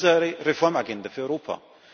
Das ist unsere Reformagenda für Europa.